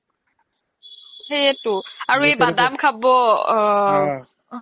সেইয়েতো আৰু এই বাদাম খাব